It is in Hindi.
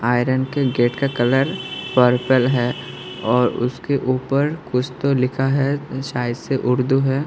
आयरन के गेट का कलर पर्पल है और उसके ऊपर कुछ तो लिखा है शायद से उर्दू है।